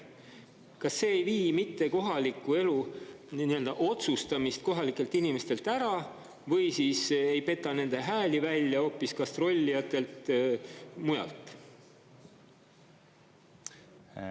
Kas see ei vii mitte kohaliku elu otsustamist kohalikelt inimestelt ära või siis ei peta nende hääli välja hoopis gastrollijatelt mujalt?